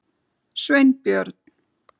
Sveinbjörn